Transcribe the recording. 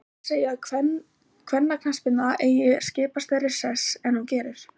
Margir segja að kvennaknattspyrna eigi að skipa stærri sess en hún gerir.